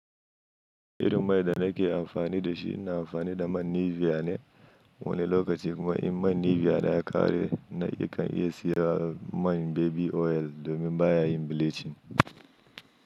Irin mai da nake amfani da shi, ina amfani da man Nivea ne wani lokaci kuma in man Nivea na ya ƙare na kan iya siya man baby oil domin baya yin bleaching.